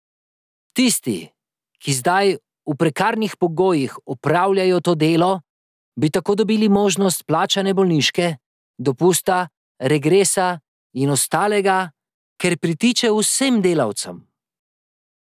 Tisti, ki zdaj v prekarnih pogojih opravljajo to delo, bi tako dobili možnost plačane bolniške, dopusta, regresa in ostalega, ker pritiče vsem delavcem.